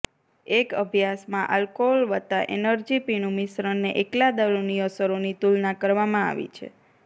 એક અભ્યાસમાં આલ્કોહોલ વત્તા એનર્જી પીણું મિશ્રણને એકલા દારૂની અસરોની તુલના કરવામાં આવી છે